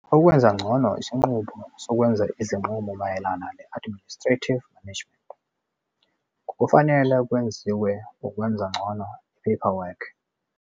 Ukwenza ngcono isinqubo sokwenza izinqumo mayelana ne-administrative management - ngokufanele kwenziwe ukwenza ngcono i-paperwork.